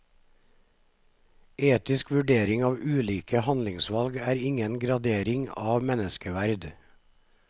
Etisk vurdering av ulike handlingsvalg er ingen gradering av menneskeverd.